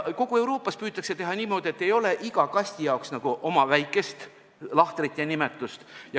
Kogu Euroopas püütakse teha niimoodi, et ei oleks iga kasti jaoks oma väikest lahtrit ja nimetust.